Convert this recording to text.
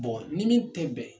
Bɔn ni min tɛ bɛn